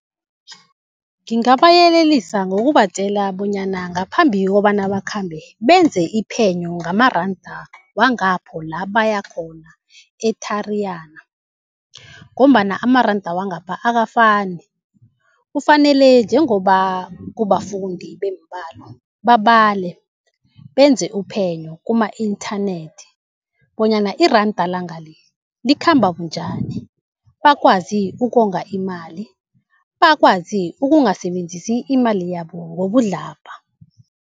Ngingabayelelisa ngokubatjela bonyana ngaphambi kobana bakhambe benze iphenyo ngamaranda wangapho la baya khona e-Tariyana ngombana amaranda wangapha akafani. Kufanele njengoba kubafundi bembalo babale benze uphenyo kuma-inthanethi bonyana iranda langale likhamba bunjani bakwazi ukonga imali, bakwazi ukungasebenzisi imali yabo ngobudlabha.